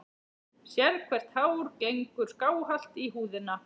Sérhvert hár gengur skáhallt í húðina.